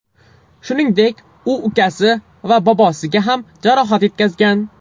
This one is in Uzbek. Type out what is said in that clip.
Shuningdek, u ukasi va bobosiga ham jarohat yetkazgan.